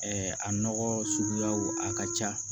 a nɔgɔ suguyaw a ka ca